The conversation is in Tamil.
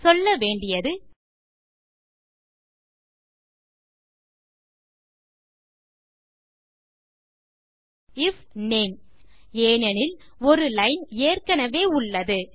சொல்ல வேண்டியது ஐஎஃப் நேம் ஏனெனில் ஒரு லைன் ஏற்கெனெவே உள்ளது